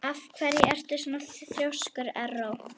Af hverju ertu svona þrjóskur, Erró?